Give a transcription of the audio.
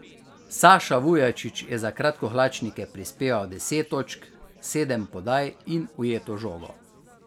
Saša Vujačić je za kratkohlačnike prispeval deset točk, sedem podaj in ujeto žogo.